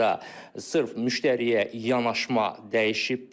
Burada sırf müştəriyə yanaşma dəyişibdir.